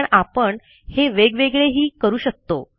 पण आपण हे वेगवेगळेही करू शकतो